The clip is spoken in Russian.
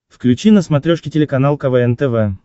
включи на смотрешке телеканал квн тв